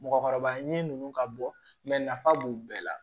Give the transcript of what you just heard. Mɔgɔkɔrɔba ɲinini ninnu ka bɔ nafa b'u bɛɛ la